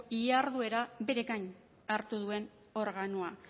jarduera beregain hartu duen organoa